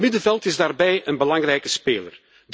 Het middenveld is daarbij een belangrijke speler.